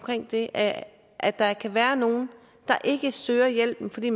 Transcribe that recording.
det at at der kan være nogen der ikke søger hjælp fordi